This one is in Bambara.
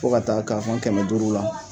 Fo ka taa k'a fɔ kɛmɛ duuru la